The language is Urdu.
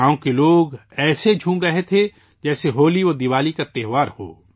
گاؤں کے لوگ خوشی سے ایسے ناچ رہے تھے جیسے ہولیدیوالی کا تہوار ہو